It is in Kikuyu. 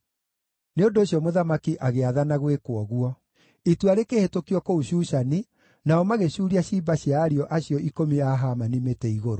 Nĩ ũndũ ũcio mũthamaki agĩathana gwĩkwo ũguo. Itua rĩkĩhĩtũkio kũu Shushani, nao magĩcuuria ciimba cia ariũ acio ikũmi a Hamani mĩtĩ-igũrũ.